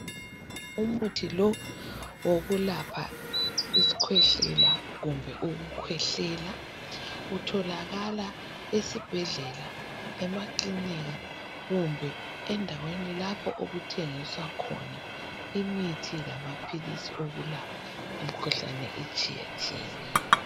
Umuthi lo wokulapha isikhwehlela kumbe ukukhwehlela. Utholakala esibhedlela, emakilinika kumbe endaweni lapho okuthengiswa khona imithi lamaphilisi okulapha imikhuhlane etshiyetshiyeneyo.